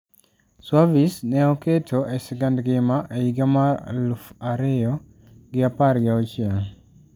Suavis ne oketo e sigand ngima e higa mar higa elufu ariyo gi apar gi auchiel.